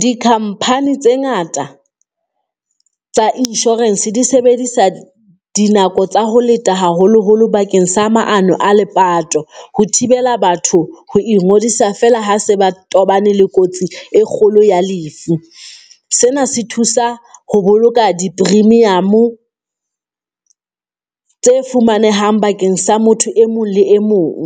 Di-company tse ngata tsa insurance di sebedisa dinako tsa ho leta haholoholo bakeng sa maano a lepato, ho thibela batho ho ingodisa feela ha se ba tobane le kotsi e kgolo ya lefu. Sena se thusa ho boloka di-premium-o tse fumanehang bakeng sa motho e mong le e mong.